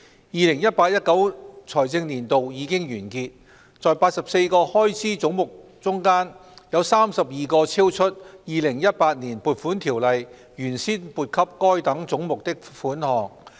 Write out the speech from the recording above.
" 2018-2019 財政年度已經完結，在84個開支總目中，有32個超出《2018年撥款條例》原先撥給該等總目的款項。